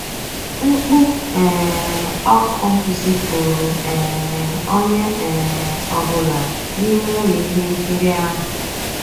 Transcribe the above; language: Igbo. Mkpú um ọ́kụ́ zìpùrụ́ um ónyé um ọ́ bụ́là n'ímé ụ́lọ́ íhé nkírí ahụ́.